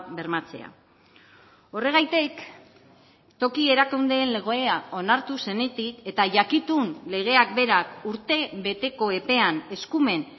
bermatzea horregatik toki erakundeen legea onartu zenetik eta jakitun legeak berak urtebeteko epean eskumen